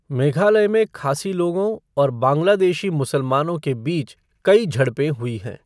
मेघालय में खासी लोगों और बांग्लादेशी मुसलमानों के बीच कई झड़पें हुई हैं।